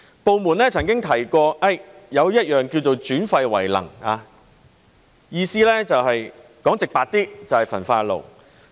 部門曾經提過"轉廢為能"，意思說得直白一點，就是焚化爐。